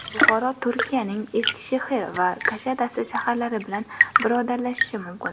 Buxoro Turkiyaning Eskishehir va Kushadasi shaharlari bilan birodarlashishi mumkin.